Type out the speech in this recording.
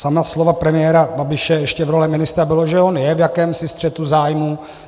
Sama slova premiéra Babiše ještě v roli ministra byla, že on je v jakémsi střetu zájmů.